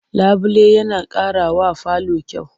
Labule yana ƙarawa falo kyau.